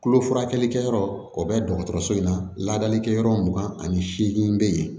Tulo furakɛli kɛyɔrɔ o bɛ dɔgɔtɔrɔso in na laadalikɛyɔrɔ mugan ani seegin bɛ yen